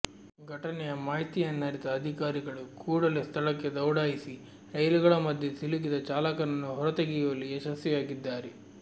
ಘಟನೆಯ ಮಾಹಿತಿಯನ್ನರಿತ ಅಧಿಕಾರಿಗಳು ಕೂಡಲೇ ಸ್ಥಳಕ್ಕೆ ದೌಡಾಯಿಸಿ ರೈಲುಗಳ ಮಧ್ಯೆ ಸಿಲುಕಿದ ಚಾಲಕನನ್ನು ಹೊರತೆಗೆಯುವಲ್ಲಿ ಯಶಸ್ವಿಯಾಗಿದ್ದಾರೆ